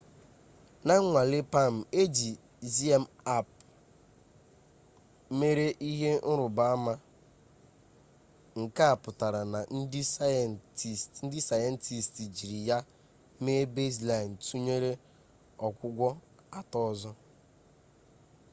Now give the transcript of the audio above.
na nnwale palm eji zmapp mere ihe nruba ama nke a putara na ndi sayentist jiri ya mee baseline tunyere ogwugwo ato ozo